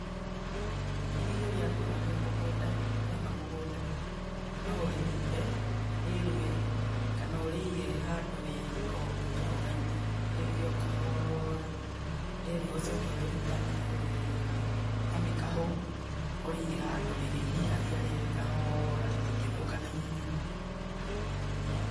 Irigũ rĩakũra rĩ mũgũnda, rĩaima mũgũnda no ũrĩrinde rĩrue kana ũrĩige handũ rĩ ika ũguo rĩrũgaime rĩrue o kahoora, rĩerua ũcoke ũrĩrutanie weega na mĩkahũ ũrĩige handũ rĩrĩhihagia rĩera kahoora rĩtingĩthũka naihenya.